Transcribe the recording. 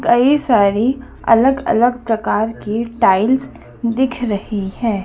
कई सारी अलग अलग प्रकार के टाइल्स दिख रही है।